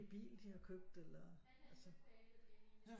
Bil de har købt eller altså